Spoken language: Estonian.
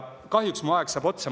Kahjuks saab mu aeg otsa.